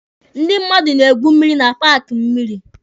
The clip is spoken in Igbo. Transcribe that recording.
Ndị mmadụ na-egwu mmịrị na paaki mmịrị.